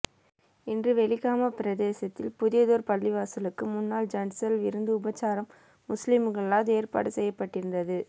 இன்று வெலிகம பிரதேசத்தில் புதியதெரு பள்ளிவாசலுக்கு முன்னாள் ஜன்சல் விருந்து உபசாரம் முஸ்லீம்கலால் ஏற்பாடு செய்யப்பட்டிருந்தது